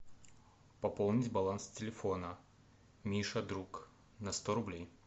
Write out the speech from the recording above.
пополнить баланс телефона миша друг на сто рублей